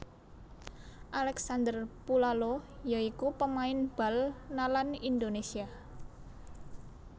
Alexander Pulalo ya iku pamain bal nalan Indonésia